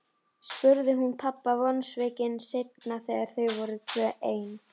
spurði hún pabba vonsvikin seinna þegar þau voru tvö ein.